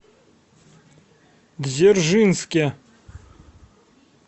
дзержинске